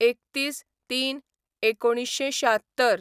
३१/०३/१९७६